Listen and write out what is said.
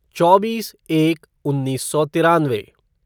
चौबीस एक उन्नीस सौ तिरानवे